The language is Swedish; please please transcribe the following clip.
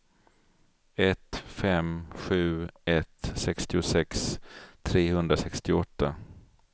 ett fem sju ett sextiosex trehundrasextioåtta